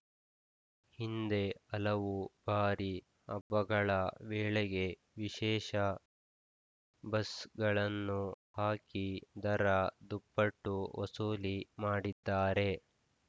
ಹಿಂದೆ ಹಲವು ಬಾರಿ ಹಬ್ಬಗಳ ವೇಳೆಗೆ ವಿಶೇಷ ಬಸ್‌ಗಳನ್ನು ಹಾಕಿ ದರ ದುಪ್ಪಟ್ಟು ವಸೂಲಿ ಮಾಡಿದ್ದಾರೆ